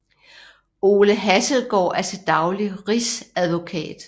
Ole Hasselgaard er til daglig rigsadvokat